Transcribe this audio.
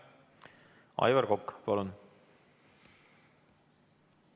Aivar Kokk, palun!